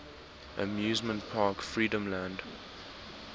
amusement park freedomland